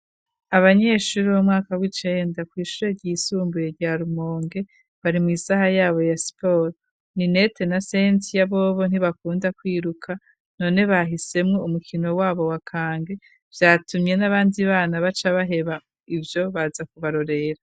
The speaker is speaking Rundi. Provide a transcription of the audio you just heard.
Abanyeshure bo mu mwaka w'icenda ku ishure ryisumbuye rya rumonge bari mw'isaha yabo ya siporo Ninete na Sensiya bobo ntibakunda kwiruka none bahisemwo umukino wabo wakange vyatumye nabandi bana baca baheba ivyo baza kubarorera.